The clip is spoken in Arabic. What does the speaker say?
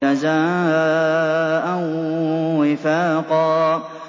جَزَاءً وِفَاقًا